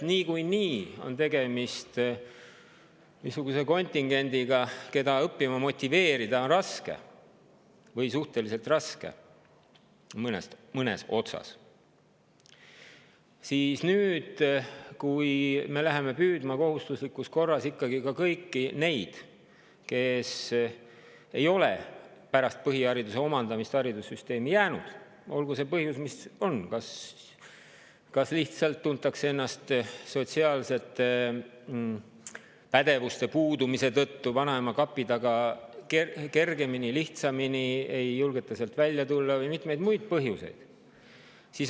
Niikuinii on tegemist niisuguse kontingendiga, keda mõnes otsas on õppima motiveerida raske või suhteliselt raske, ja nüüd me läheme kohustuslikus korras püüdma ka kõiki neid, kes ei ole pärast põhihariduse omandamist haridussüsteemi jäänud, olgu see põhjus siis mis on, kas lihtsalt tuntakse ennast sotsiaalsete pädevuste puudumise tõttu vanaema kapi taga kergemini, lihtsamini, ei julgeta sealt välja tulla, või on muid põhjuseid.